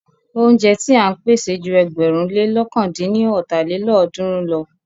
Óúnjẹ ti à ń pèsè ju ẹgbẹ̀rún lé lọ̀kan dín ní ọ́ta lélọ́ọ̀dúnrún lọ.